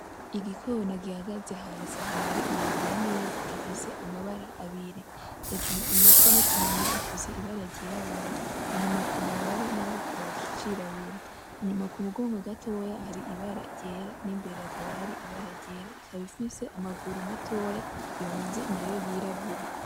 Igikona gihagaze hasi ahantu hari amabuye n'ivu gifise amabra abiri hejuru ku mutwe no kumunwa gifise ibara ry'irabura, inyuma kumababa naho kikaba cirabura, inyuma ku mugongo gatoya hari ibara ryera n'imbere hakaba hari ibara ryera ikaba ifise amaguru matoya yonze nayo yirabura.